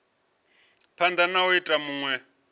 phanda na u ita vhunwe